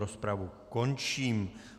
Rozpravu končím.